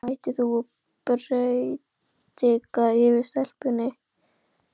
Svona, hættu nú að predika yfir stelpunni.